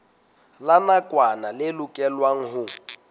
la nakwana le lokelwang ho